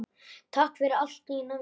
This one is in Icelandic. Takk fyrir allt, Nína mín.